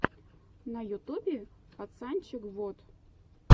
на ютюбе пацанчег вот